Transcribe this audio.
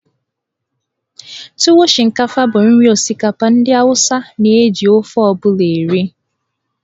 Tuwo Shinkafa bụ nri osikapa ndị Awụsa na-eji ofe ọ bụla eri.